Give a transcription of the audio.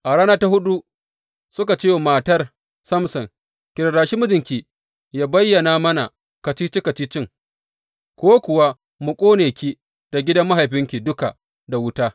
A rana ta huɗu suka ce wa matar Samson Ki rarrashi mijinki yă bayyana mana kacici kacicin, ko kuwa mu ƙone ki da gidan mahaifinki duka da wuta.